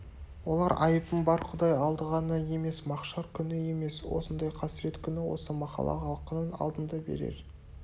олар айыбың бар құдай алды ғана емес махшар күні емес осындай қасірет күні осы махалла халқының алдында берер